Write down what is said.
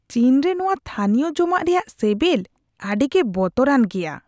ᱪᱤᱱ ᱨᱮ ᱱᱚᱶᱟ ᱛᱷᱟᱹᱱᱤᱭᱚ ᱡᱚᱢᱟᱜ ᱨᱮᱭᱟᱜ ᱥᱮᱵᱮᱞ ᱟᱹᱰᱤᱜᱮ ᱵᱚᱛᱚᱨᱟᱱ ᱜᱮᱭᱟ ᱾